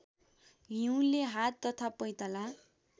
हिउँले हात तथा पैताला